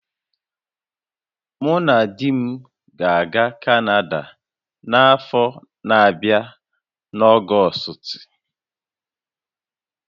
Mụ na di m ga-aga Kanada n'afọ na-abịa n'Ọgọstị